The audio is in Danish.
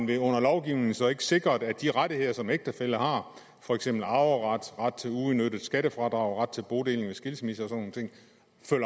det under lovgivningen så ikke sikret at de rettigheder som ægtefæller har for eksempel arveret ret til uudnyttet skattefradrag ret til bodeling ved skilsmisser